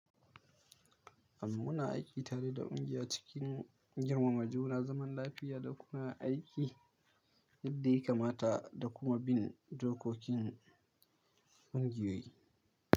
Amma muna aiki tare da kungiya cikin girmama juna zaman lafiya da kuma aiki yadda ya kamata da kuma bin dokokin kungiyoyi.